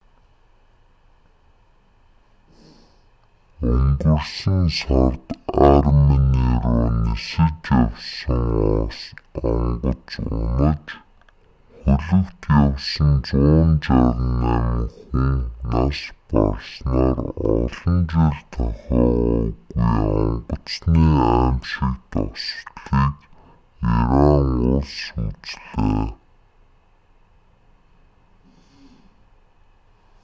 өнгөрсөн сард армени руу нисэж явсан онгоц унаж хөлөгт явсан 168 хүн нас барснаар олон жил тохиогоогүй онгоцны аймшигт ослыг иран улс үзлээ